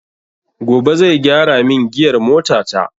Gobe zai gyara min giyar mota ta